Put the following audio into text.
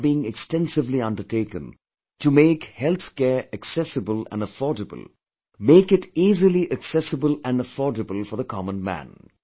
Efforts are being extensively undertaken to make health care accessible and affordable, make it easily accessible and affordable for the common man